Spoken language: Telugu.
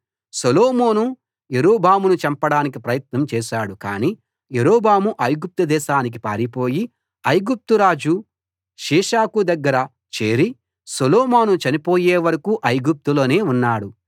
సొలొమోను యరొబామును చంపడానికి ప్రయత్నం చేశాడు కానీ యరొబాము ఐగుప్తు దేశానికి పారిపోయి ఐగుప్తు రాజు షీషకు దగ్గర చేరి సొలొమోను చనిపోయే వరకూ ఐగుప్తులోనే ఉన్నాడు